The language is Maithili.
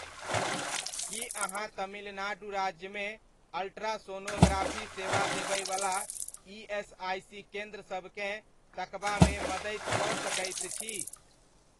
की अहाँ तमिलनाडु राज्यमे अल्ट्रासोनोग्राफी सेवा देबयवला ईएसआइसी केन्द्र सबकेँ तकबामे मदति कऽ सकैत छी?